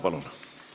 Palun!